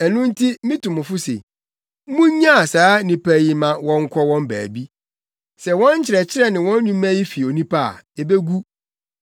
Ɛno nti mitu mo fo se, munnyaa saa nnipa yi ma wɔnkɔ wɔn baabi. Sɛ wɔn nkyerɛkyerɛ ne wɔn nnwuma yi fi onipa a, ebegu.